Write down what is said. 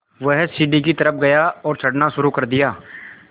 वह सीढ़ी की तरफ़ गया और चढ़ना शुरू कर दिया